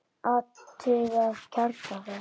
Athugað kjarna þess?